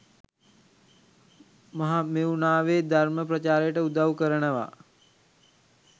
මහමෙව්නාවෙ ධර්ම ප්‍රචාරයට උදව් කරනව.